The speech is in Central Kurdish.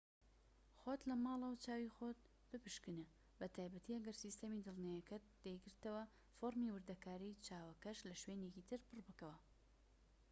خۆت لە ماڵەوە چاوی خۆت بپشکنە بە تایبەتی ئەگەر سیستەمی دڵنیاییەکەت دەیگرتەوە فۆرمی وردەکاری چاوەکەش لە شوێنێکی تر پڕ بکەوە